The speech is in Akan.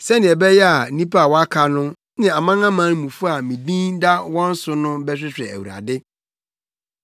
sɛnea ɛbɛyɛ a nnipa a wɔaka no, ne amanamanmufo a me din da wɔn so no bɛhwehwɛ Awurade.’